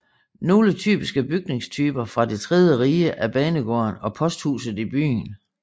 Nogle typiske bygningstyper fra det tredje rige er banegården og posthuset i byen